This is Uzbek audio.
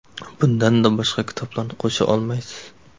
Bunda boshqa kitoblarni qo‘sha olmaysiz.